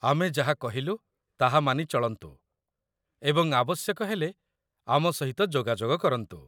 ଆମେ ଯାହା କହିଲୁ ତାହା ମାନି ଚଳନ୍ତୁ, ଏବଂ ଆବଶ୍ୟକ ହେଲେ ଆମ ସହିତ ଯୋଗାଯୋଗ କରନ୍ତୁ